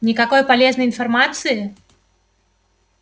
никакой полезной информации